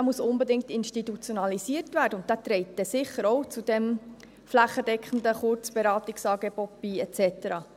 Er muss unbedingt institutionalisiert werden, und er trägt sicher auch zu diesem flächendeckenden Kurzberatungsangebot bei et cetera.